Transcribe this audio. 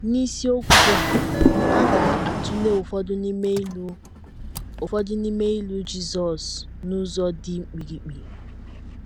” N’isiokwu a, a ga - atụle ụfọdụ n’ime ilu ụfọdụ n’ime ilu Jizọs n’ụzọ dị mkpirikpi.